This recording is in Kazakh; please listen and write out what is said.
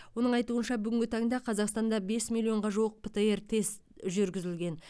оның айтуынша бүгінгі таңда қазақстанда бес миллионға жуық птр тест жүргізілген